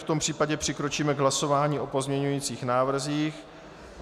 V tom případě přikročíme k hlasování o pozměňovacích návrzích.